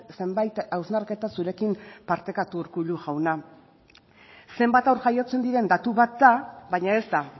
zenbait hausnarketa zurekin partekatu urkullu jauna zenbat haur jaiotzen diren datu bat da baina ez da